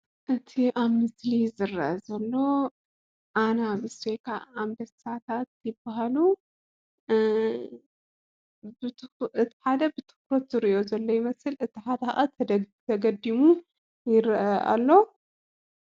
እቲ ኣብ ምስሊ ዝርአ ዘሎ ኣናብስ ወይ ከዓ ኣንበሳታት ይብሃሉ። እቲ ሓደ ብትኹረት ዝሪኦ ዘሎ ይመስል፣ እቲ ሓደ ከዓ ተገዲሙ ይርአ ኣሎ።